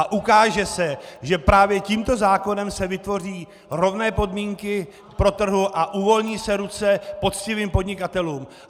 A ukáže se, že právě tímto zákonem se vytvoří rovné podmínky pro trh a uvolní se ruce poctivým podnikatelům!